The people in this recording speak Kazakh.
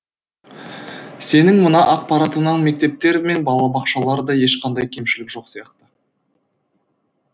сенің мына ақпаратыңнан мектептер мен балабақшаларда ешқандай кемшілік жоқ сияқты